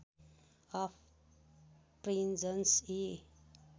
of prisons यी